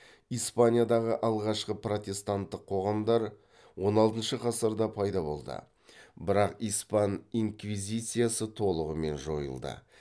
испаниядағы алғашқы протестанттық қоғамдар он алтыншы ғасырда пайда болды бірақ испан инквизициясы толығымен жойылды